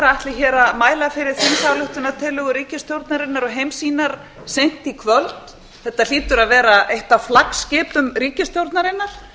ætli hér að mæla fyrir þingsályktunartillögu ríkisstjórnarinnar og heimssýnar seint í kvöld þetta hlýtur að vera eitt af flaggskipum ríkisstjórnarinnar